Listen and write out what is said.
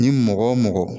Ni mɔgɔ o mɔgɔ